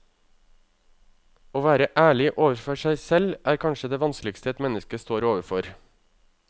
Å være ærlig overfor seg selv er kanskje det vanskeligste et menneske står overfor.